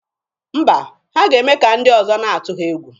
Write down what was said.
Mba, ha ga-eme ka ndị ọzọ na-atụ ha egwu.